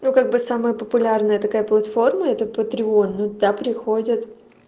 ну как бы самые популярные такая платформа это патрион ну да приходят